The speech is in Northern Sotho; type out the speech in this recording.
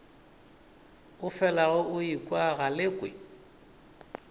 o felago o ekwa galekwe